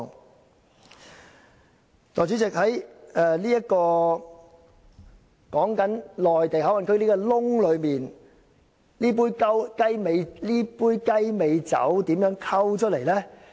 代理主席，在內地口岸區這個"洞"內，究竟這杯"雞尾酒"是如何"混"出來的呢？